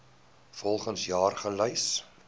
volgens jaar gelys